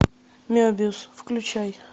мебиус включай